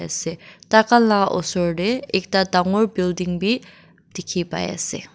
Ase taikhan la osor te ekta dangor building bi dekhi pai ase.